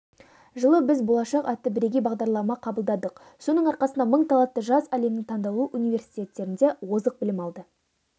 жылы біз болашақ атты бірегей бағдарлама қабылдадық соның арқасында мың талантты жас әлемнің таңдаулы университеттерінде озық білім алды